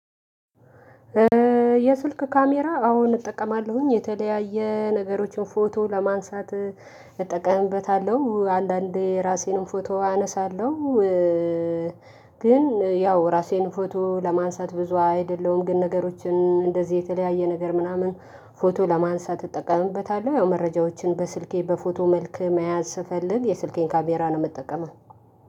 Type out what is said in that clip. የስልክ ካሜራ አሁን እጠቀማለሁኝ የተለያየ ነገሮችን ፎቶ ለማንሳት እጠቀምበታለሁ አንዳንዴ ራሴንም ፎቶ አነሳለሁ ግን ያው ራሴን ፎቶ ለማንሳት ብዙ አይደለሁም ግን ነገሮችን እንደዚህ የተለያየ ነገር ምናምን ፎቶ ለማንሳት እጠቀምበታለሁ ያው መረጃዎችን በስልኬ በፎቶ መልክ መያዝ ስፈልግ የስልኬን ካሜራ ነው ምጠቀመው።